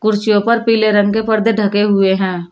कुर्सियों पर पीले रंग के पर्दे ढके हुए हैं।